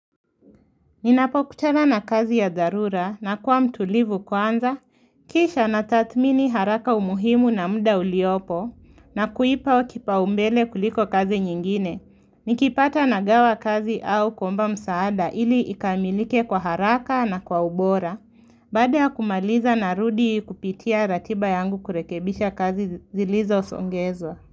Ninapokuta na kazi ya dharura na kuwa mtulivu kwanza, kisha natathmini haraka umuhimu na muda uliopo na kuipa paumbele kuliko kazi nyingine. Nikipata nagawa kazi au kuomba msaada ili ikamilike kwa haraka na kwa ubora, baada ya kumaliza na rudi kupitia ratiba yangu kurekebisha kazi zilizo songezwa.